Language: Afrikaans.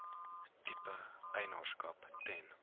tipe eienaarskap ten